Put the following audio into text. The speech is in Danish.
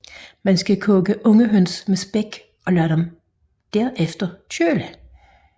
Man skal koge unge høns med spæk og lad dem derefter køle